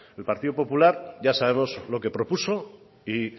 el partido popular ya sabemos lo que propuso y